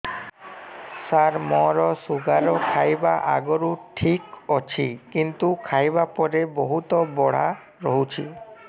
ସାର ମୋର ଶୁଗାର ଖାଇବା ଆଗରୁ ଠିକ ଅଛି କିନ୍ତୁ ଖାଇବା ପରେ ବହୁତ ବଢ଼ା ରହୁଛି